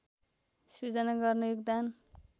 सिर्जना गर्न योगदान